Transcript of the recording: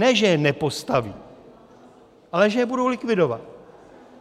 Ne že je nepostaví, ale že je budou likvidovat.